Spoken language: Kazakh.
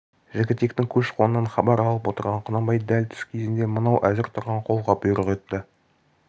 жігітектің көш-қонынан хабар алып отырған құнанбай дәл түс кезінде мынау әзір тұрған қолға бұйрық етті